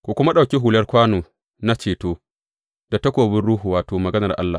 Ku kuma ɗauki hular kwano na ceto, da takobin Ruhu, wato, Maganar Allah.